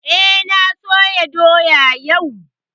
Eh, na soya doya yau